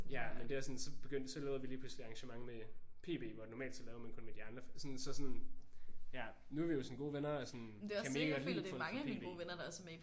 Ja men det er også sådan så begyndte så lavede vi lige pludselig også arrangementer med PB hvor normalt så lavede man kun med de andre. Sådan så sådan ja nu er vi jo sådan gode venner og sådan kan mega godt lide folk fra PB